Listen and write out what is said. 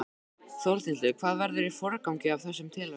Þórhildur: Hvað verður í forgangi af þessum tillögum?